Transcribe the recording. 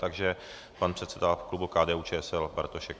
Takže pan předseda klubu KDU-ČSL Bartošek.